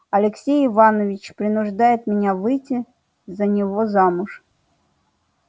алексей иванович принуждает меня выйти за него замуж